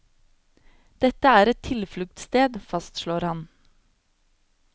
Dette er et tilfluktssted, fastslår han.